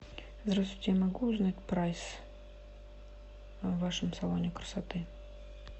здравствуйте я могу узнать прайс в вашем салоне красоты